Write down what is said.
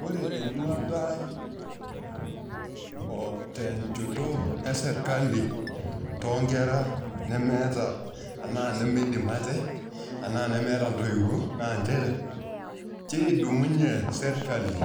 Ore eduata ai o nchot esirkali too nkera nemeeta, enaa nemeidim ate, anaa nemeeta ntoiwuo naa nchere, kedumunye sirkali